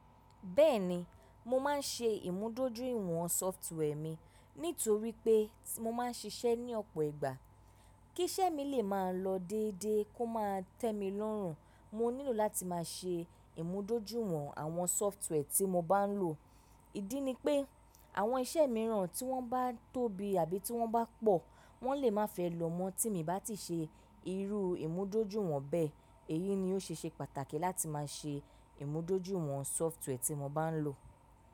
Bẹ́ẹ̀ni, mo máa ń ṣe ìmúdójúìwọ̀n software mi nítorí pé mo máa ń ṣiṣẹ́ ní ọ̀pọ̀ ìgbà. Kí iṣẹ́ mi lè máa lọ déédéé kó máa tẹ́ mi lọ́rùn, mo nílò láti máa ṣe ìmúdójúìwọ̀n àwọn software tí mo bá ń lò. Ídí ni pé àwọn iṣẹ́ mìíràn tí wọ́n bá tóbi àbí tí wọ́n bá pọ̀, wọ́n lè má fẹ́ lọ́ mọ́ tí mi bá ti ṣe irú ìmúdójúìwọ̀n bẹ́ẹ̀. Èyí ni ó ṣe ṣe pàtàkì láti má ṣe ìmúdójúìwọ̀n software tí mo bá ń lò.